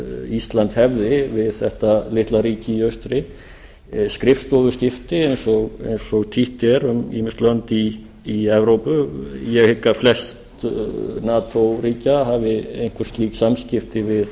ísland hefði við þetta litla ríki í austri skrifstofuskipti eins og títt er um ýmis lönd í evrópu ég hygg að flest nato ríkja hafi einhver slík samskipti